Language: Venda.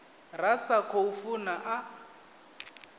ra sa khou funa a